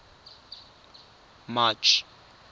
march